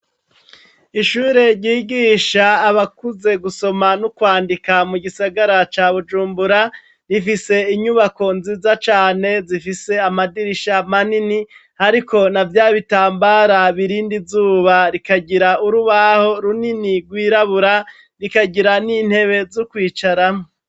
Ishure ryigisha abakuze gusoma no kwandika mugisagara ca bujumbura, rifise inyubako nziza cane, zifise amadirisha manini ariko navyabitambara birinda izuba, rikagira urubaho runini rwirabura, rikagira nintebe zokwicaramwo.